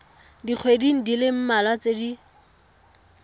dikgweding di le mmalwa tse